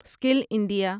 skill India